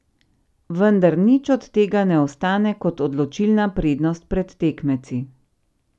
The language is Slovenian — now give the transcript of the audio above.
Vendar nič od tega ne ostane kot odločilna prednost pred tekmeci.